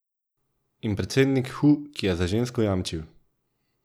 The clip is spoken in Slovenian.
In predsednik Hu, ki je za žensko jamčil.